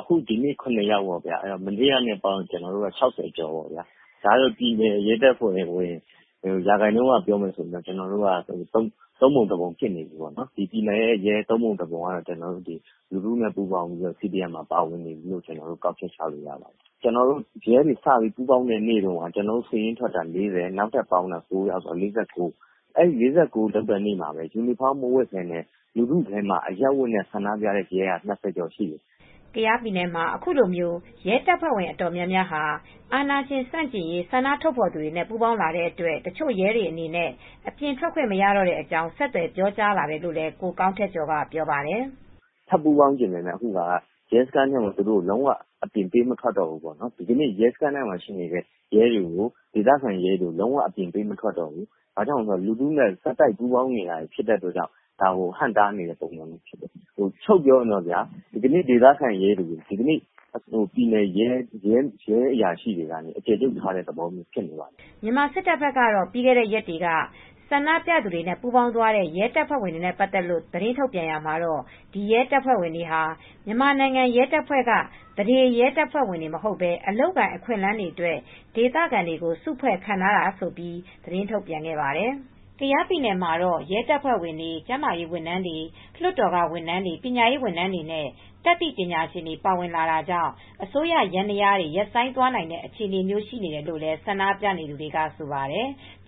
“ဒီနေ့ ၇ ယောက် မနေ့ကနဲ့ ပေါင်းရင် အားလုံး ၆၀ ကျော်တယ်။ ပြည်နယ်ရဲတပ်ဖွဲ့ဝင်တွေ ရာခိုင်နှုန်းအရပြောရင်တော့ သုံးပုံတပုံ ဖြစ်နေတယ်။ ပြည်နယ်ရဲရဲ့ သုံးပုံတပုံက လူထုနဲ့ပေါင်းပြီး CDM Civil Disobedience Movement မှာ ပါဝင်နေပြီလို့ ကောက်ချက်ချလို့ရတယ်။ ရဲတွေ စပြီး ပူးပေါင်းတဲ့နေ့တုန်းက ကျနော်တို့ စာရင်းထွက်တာ ၄၀၊ နောက် စာရင်းထပ်တိုးတာ ၉ ယောက်၊ ၄၉ ယောက်ရှိတယ်။ အဲဒီ ၄၉ ယောက် ပါတဲ့နေ့က လူထုထဲမှာ ပူးပေါင်းနေတဲ့ အရပ်ဝတ်နဲ့ရဲက ၂၀ ကျော်ရှိတယ်။” ကယားပြည်နယ်မှာ အခုလို ရဲတပ်ဖွဲ့ဝင် အတော်များများဟာ အာဏာရှင်ဆန့်ကျင်ရေး ဆန္ဒထုတ်ဖော်သူတွေနဲ့ ပူးပေါင်းလာတဲ့အတွက် တချို့ရဲတွေအနေနဲ့ အပြင်ထွက်ခွင့်မရတော့တဲ့အကြောင်း ဆက်သွယ်ပြောကြားလာတယ်လို့ ကိုကောင်းထက်ကျော်က ပြောပါတယ်။ “ထပ်ပူးပေါင်းချင်နေတယ်၊ ဒီကနေ့ ရဲစခန်းမှာရှိနေတဲ့ ရဲတွေကို အပြင်ကို ပေးမထွက်တော့ဘူး။ ဒီကနေ့ ရဲစခန်းမှာရှိနေတဲ့ ရဲတွေကို အပြင်ပေးမထွက်တော့ဘူး။ ဘာကြောင့်လဲဆိုတော့ လူထုနဲ့ ဆက်တိုက်ပူးပေါင်းနေတဲ့အတွက် ဒါကို ဟန့်တားနေတာဖြစ်တယ်။ ချုပ်ပြောရင် ဒီကနေ့ ဒေသခံရဲတွေကို ပြည်နယ်ရဲအရာရှိတွေက အကျယ်ချုပ်ထားတဲ့ ပုံစံမျိုး ဖြစ်နေတယ်။” မြန်မာစစ်တပ်ဘက်ကတော့ ပြီးခဲ့တဲ့ရက်တွေက ဆန္ဒပြသူတွေနဲ့ ပူးပေါင်းသွားတဲ့ ရဲတပ်ဖွဲ့ဝင်တွေနဲ့ ပတ်သက်လို့ သတင်းထုတ်ပြန်ရာမှာတော့ ဒီရဲတပ်ဖွဲ့ဝင်တွေဟာ မြန်မာနိုင်ငံရဲတပ်ဖွဲ့က သန္ဓေရဲတပ်ဖွဲ့ဝင်တွေ မဟုတ်ဘဲ အလုပ်အကိုင် အခွင့်အလမ်းအတွက် ဒေသခံတွေကို စုဖွဲ့ခန့်ထားတာလို့ ထုတ်ပြန်ပြောဆိုခဲ့ပါတယ်။ ကယားပြည်နယ်မှာတော့ ရဲတပ်ဖွဲ့ဝင်တွေ၊ ကျန်းမာရေးဝန်ထမ်းတွေ၊ လွှတ်တော်ကဝန်ထမ်းတွေ၊ ပညာရေးဝန်ထမ်းတွေနဲ့ တတ်သိပညာရှင်တွေ ပါဝင်လာတာကြောင့် အစိုးရ ယန္တရားတွေ ရပ်ဆိုင်းသွားနိုင်တဲ့ အခြေအနေမျိုး ရှိနေတယ်လို့လည်း ဆန္ဒပြနေသူတွေက ဆိုပါတယ်။